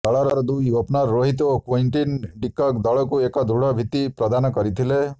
ଦଳର ଦୁଇ ଓପନର ରୋହିତ ଓ କ୍ୱିଣ୍ଟନ ଡିକକ ଦଳକୁ ଏକ ଦୃଢ ଭିତ୍ତି ପ୍ରଦାନ କରିଥିଲେ